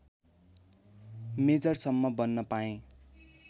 मेजरसम्म बन्न पाएँ